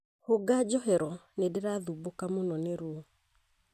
Hũnga njohero nĩndirathumbũka mũno nĩ ruo